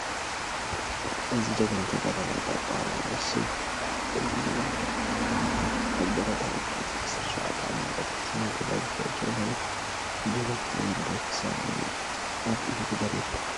እዚ ጅግና ተጋዳላይ ጠርጣራው ስቡህ ይባሃል። እዚ ጅግና ተጋዳላይ ኣብ ብረታዊ ቃልሲ 17 ዓመት ኣትሒዙ ምግዳል ዝጀመረ ጅግና ተጋዳላይ ክሳብ ሎሚ ኣብ ምግዳል ይርከብ።